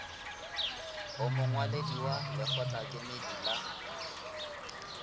o mongwaledi wa lekgotlakemedi la